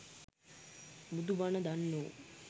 බුදු බණ දන්නෝ